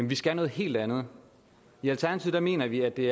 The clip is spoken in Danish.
vi skal noget helt andet i alternativet mener vi at det